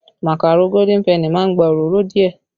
Màkàró Golden penny má ń gba òróró díẹ̀